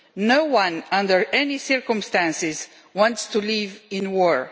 No one under any circumstances wants to live in war.